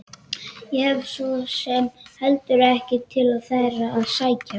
Ég hef svo sem heldur ekkert til þeirra að sækja.